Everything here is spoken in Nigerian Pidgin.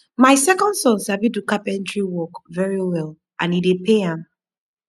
my second son sabi do carpentry work very well and e dey pay am